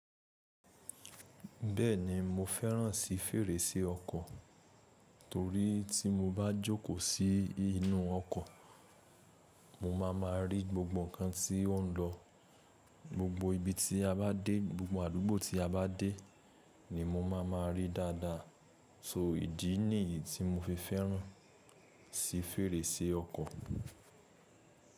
Bẹ́ẹ̀ni mo fẹ́ràn si fèrèsé ọkọ̀ torí tí mo bá jókòó sí inú ọkọ̀, mo ma ma rí gbogbo ǹkan tí ó ń lọ, gbogbo ibi tí a bá dé, gbogbo àdúgbò tí a bá dé ni mo ma ma rí dáadáa. So ìdí nìyí tí mo fi fẹ́ràn si fèrèsé ọkọ̀.